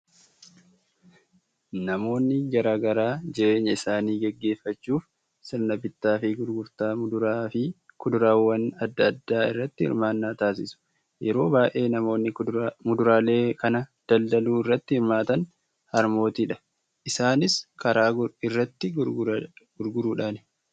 Namoonni garaa garaa jireenya isaanii gaggeeffachuuf sirna bittaa fi gurgurtaa muduraa fi kudaraawwan adda addaa irratti hirmaannaa taasisu. Yeroo baay'ee namoonni muduraalee kana daldaluu irratti hirmaatan harmootiidha. Isaanis karaa irratti gurguruudhaani.